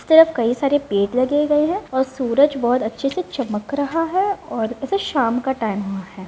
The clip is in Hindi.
इस तरफ कई सारे पेड़ लगे गए हैं और सूरज बहुत अच्छे से चमक रहा है और ऐसा शाम का टाइम हुआ है।